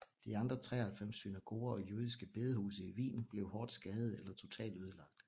De andre 93 synagoger og jødiske bedehuse i Wien blev hårdt skadede eller totalt ødelagt